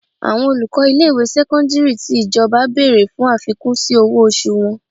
Àwọn olùkọ́ ilé ìwé sẹ́kọ́ńdírì tí ìjọba bèrè fún àfikún sí owó oṣù wọn.